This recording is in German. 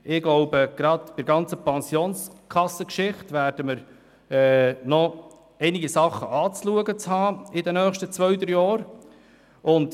Ich glaube, gerade bei der ganzen Pensionskassengeschichte werden wir in den nächsten zwei, drei Jahren noch einiges anschauen müssen.